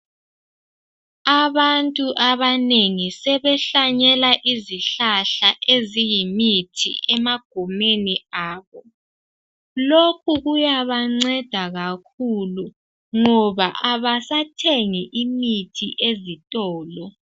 Abantu abanengi sebehlanyela izihlahla eziyimithi emagumeni abo. Lokhu kuyabanceda kakhulu ngoba abasathengi imithi ezitolo.